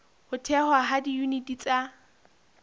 ho thehwa ha diyuniti tsa